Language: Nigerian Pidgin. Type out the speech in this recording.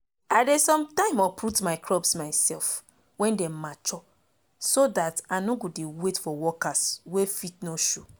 i dey some time uproot my crop mysef wen dem mature so dat i nor go de wait for workers wey fit nor show